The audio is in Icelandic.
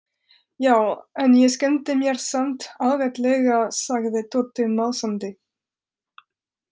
Já, en ég skemmti mér samt ágætlega sagði Tóti másandi.